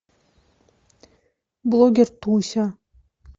блогер туся